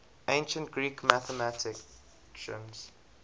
ancient greek mathematicians